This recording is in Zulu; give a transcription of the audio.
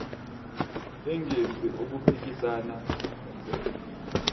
engenzi okuphikisana nomthetho